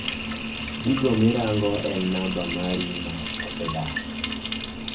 gigo mirango en namba mari ma osedak